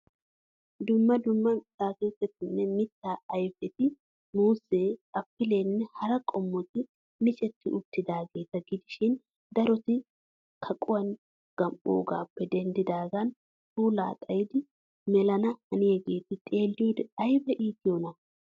Dumma dumma atakiltettinne mitta ayfeti muuzee, applenne hara qomotti miccetti uttidaageeta gidishshiin darotti kaquwaan gam'oogaappe denddidaagan puulaa xayid melanna haniyaageeti xeelliyode aybba iittiyonaa.